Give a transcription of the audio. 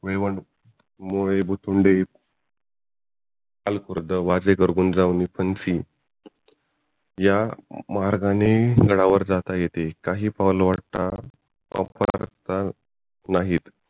वयवांडू मोळे बुतुंडे अलखुर्द, वाजवार गुंदाझालन, फण्सी या मार्गांनी गडावरती जातं येते काही पाऊलवाटा वापरण्यासाठी नाहीत